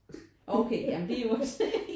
Åh okay ja men det er jo også